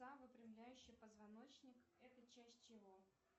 выпрямляющий позвоночник это часть чего